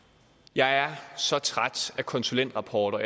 jeg er så træt af konsulentrapporter